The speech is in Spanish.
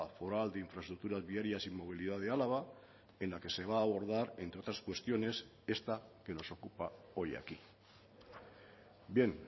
foral de infraestructuras viarias y movilidad de álava en la que se va a abordar entre otras cuestiones esta que nos ocupa hoy aquí bien